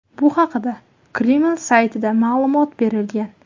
Bu haqda Kreml saytida ma’lumot berilgan .